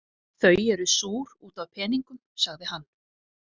Þau eru súr út af peningunum, sagði hann.